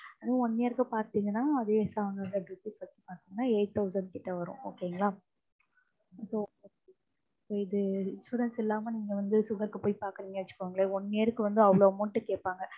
one year க்கு பாத்தீங்கனா அதே seven hundred rupees வரும். அப்படீன்னா eight thousand கிட்ட வரும் okay ங்களா. இதே insurance இல்லாம நீங்க வந்து sugar க்கு பாக்கறீங்கன்னு வச்சுக்கோங்களேன் one year க்கு அவ்வளவு amount கேப்பாங்க